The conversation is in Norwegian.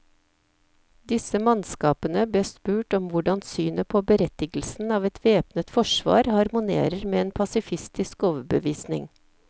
Disse mannskapene bes spurt om hvordan synet på berettigelsen av et væpnet forsvar harmonerer med en pasifistisk overbevisning.